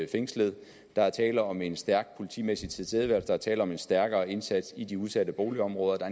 fængslet der er tale om en stærk politimæssig tilstedeværelse der er tale om en stærkere indsats i de udsatte boligområder der